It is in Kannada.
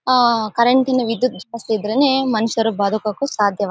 ಆ ಕರೆಂಟ್ ನ ವಿದ್ಯುತ್ ದೀಪ ಇದ್ರೆ ಮನುಷ್ಯರು ಬದುಕಕ್ಕೂ ಸಾಧ್ಯ.